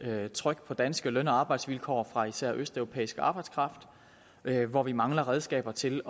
med tryk på danske løn og arbejdsvilkår fra især østeuropæisk arbejdskraft hvor vi mangler redskaber til